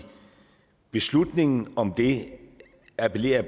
beslutningen om det appellerer